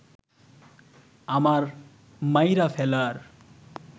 আমার মাইরা ফেলার